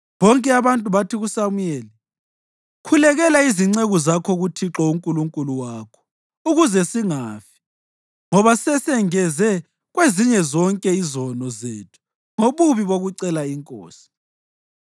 Bonke abantu bathi kuSamuyeli, “Khulekela izinceku zakho kuThixo uNkulunkulu wakho ukuze singafi, ngoba sesengeze kwezinye zonke izono zethu ngobubi bokucela inkosi.”